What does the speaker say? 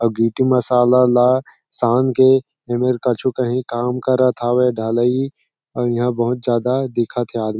आउ गिटी मसाला ला शान के ई बेर कछु कहिं काम करत हवे ढलई आउ ईहा बहुत ज्यादा दिखत है आदमी --